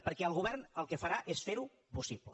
perquè el govern el que farà és fer ho possible